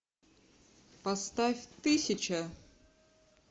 поставь тысяча